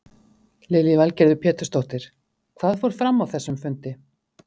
Lillý Valgerður Pétursdóttir: Hvað fór fram á þessum fundi?